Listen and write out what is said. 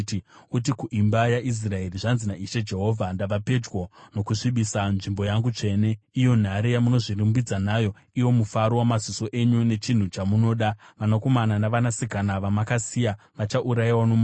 Uti kuimba yaIsraeri, ‘Zvanzi naIshe Jehovha: Ndava pedyo nokusvibisa nzvimbo yangu tsvene, iyo nhare yamunozvirumbidza nayo, iwo mufaro wamaziso enyu, nechinhu chamunoda. Vanakomana navanasikana vamakasiya vachaurayiwa nomunondo.